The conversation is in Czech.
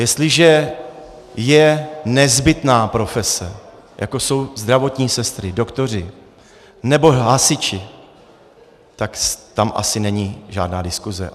Jestliže je nezbytná profese, jako jsou zdravotní sestry, doktoři nebo hasiči, tak tam asi není žádná diskuse.